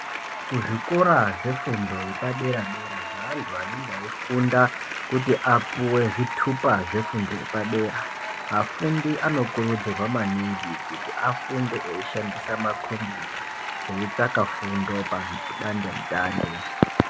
Kuzvikora zvefundo yepadera dera zveantu anenge eifunda kuti apuwe zvitupa zvefundo yepadera, afundi anokurudzirwa maningi kuti afunde eyishandisa makombiyuta eitsvaka fundo padandemutande.